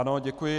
Ano, děkuji.